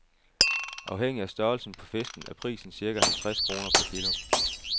Afhængig af størrelsen på fisken er prisen cirka halvtreds kroner per kilo.